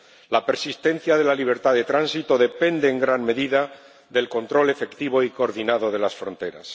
La persistencia de la libertad de tránsito depende en gran medida del control efectivo y coordinado de las fronteras.